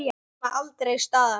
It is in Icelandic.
Nema aldrei staðar.